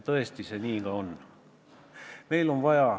Tõesti, nii see ka on.